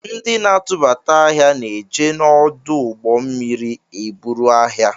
Ndi na-atụbata ahịa na-eje na ọdụ ụgbọ mmiri eburu ahịa